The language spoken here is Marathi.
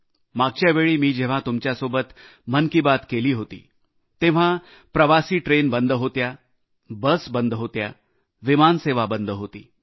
मागच्यावेळी मी जेव्हा तुमच्यासोबत मन की बात केली होती तेव्हा प्रवासी ट्रेन बंद होत्या बस बंद होत्या विमान सेवा बंद होती